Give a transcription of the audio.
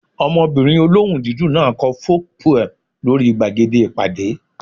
Ọmọbìnrin olóhùn dídùn náà kọ folk poem lórí gbàgede ìpàdé